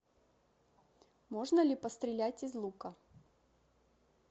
можно ли пострелять из лука